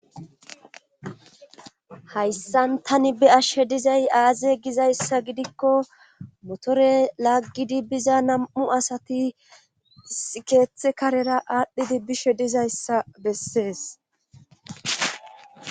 hayssan tani be'ashshe dizay aaze gizayssa gidikko motore laggidi biza nam'u asati isi keethe karera aadhdhidi bishe dizayssa bessees